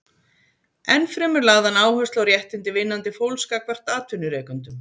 Enn fremur lagði hann áherslu á réttindi vinnandi fólks gagnvart atvinnurekendum.